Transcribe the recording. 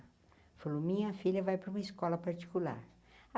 Falou, minha filha vai para uma escola particular.